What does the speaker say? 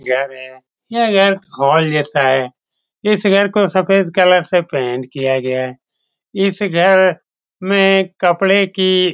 यह घर है। यह घर हॉल जैसा है। इस घर को सफ़ेद कलर से पेंट किया गया है। इस घर में एक कपड़े की --